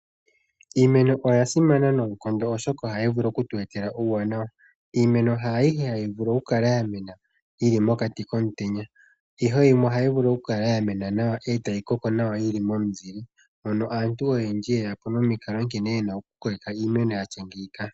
Iimeno oya simana noonkondo oshoka ohayi vulu oku tu etela uuwanawa. Iimeno ha ayihe hayi vulu oku kala ya mena yili mokati komutenya . Ihe yimwe ohayi vulu okukala ya mena nawa etayi koko nawa yili momuzile . Aantu oyendji oye ya po nomukalo nkene yena okukokeka iimeno yatya ngeyika.